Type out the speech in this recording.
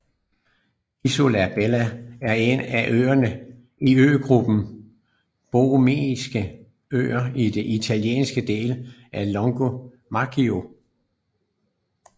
Isola Bella er en af øerne i øgruppen Borromeiske Øer i den italienske del af Lago Maggiore